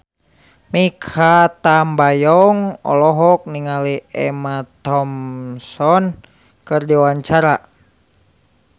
Mikha Tambayong olohok ningali Emma Thompson keur diwawancara